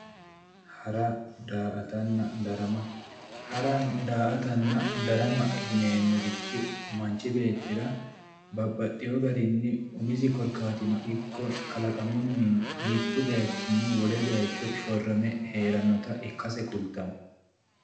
hara daa'atanna darama hara daa'atanna darama yineemmorichi manchi beettira babbaxeewo garinni umisi korkaatinnino ikko kalaqamunni ikko mittu bayichinni wole bayicho shorrame heerannota ikkase kulittanno.